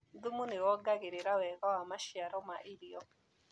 Thumu nĩwongagĩrĩra wega wa maciaro ma irio.